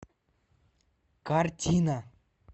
картина